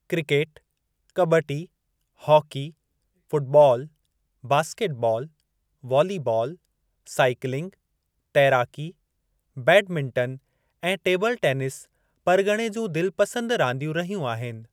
Cricket, kabaddi, hockey, football, basketball, volleyball, cycling, तैराकी, badminton ऐं table tennis परगि॒णे जूं दिलिपसंद रांदियूं रहियूं आहिनि।